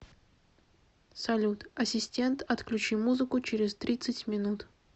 салют ассистент отключи музыку через тридцать минут